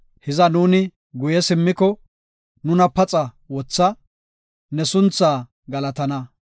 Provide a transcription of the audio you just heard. Hiza nuuni guye simmoko; Nuna paxa wotha; ne sunthaa galatana.